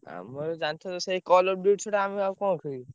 ଆଉ ମୁଁ ଜାଣିଥିବ ତ ସେଇ ଛଡା ଆମେ ଆଉ କଣ ଖେଳିବୁ?